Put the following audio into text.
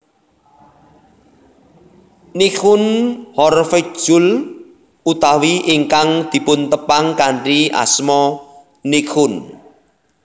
Nichkhun Horvejkul utawi ingkang dipuntepang kanthi asma Nichkhun